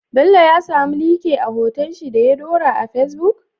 Bello ya samu Like a hoton shi da ya dora a facebook?